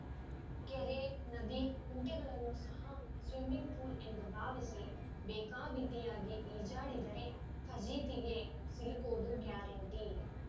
ಕೆರೆನದಿ ಕುಂಟೆಗಳನ್ನೂ ಸಹ swimming pool ಎಂದು ಭಾವಿಸಿ ಬೇಕಾಬಿಟ್ಟಿಯಾಗಿ ಈಜಾಡಿದರೆ ಫಜೀತಿಗೆ ಸಿಲುಕೋದು ಗ್ಯಾರೆಂಟಿ